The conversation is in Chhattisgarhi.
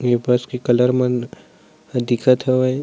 ए पास के कलर मन दिखत हवे।